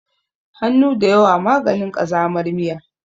Hannu da yawa maganin ƙazamar miya.